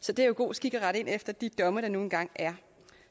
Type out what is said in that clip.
så det er jo god skik at rette ind efter de domme der nu engang er